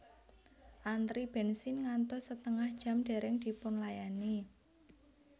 Antri bensin ngantos setengah jam dereng dipunlayani